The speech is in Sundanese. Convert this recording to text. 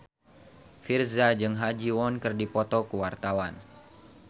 Virzha jeung Ha Ji Won keur dipoto ku wartawan